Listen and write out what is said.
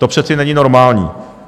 To přece není normální.